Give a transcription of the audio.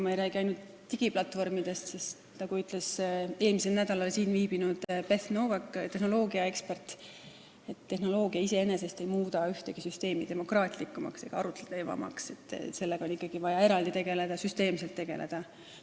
Ma ei räägi ainult digiplatvormidest, sest nagu ütles eelmisel nädalal siin viibinud Beth Noveck, tehnoloogiaekspert, et tehnoloogia iseenesest ei muuda ühtegi süsteemi demokraatlikumaks ega arutlevamaks, sellega on ikkagi vaja eraldi ja süsteemselt tegeleda.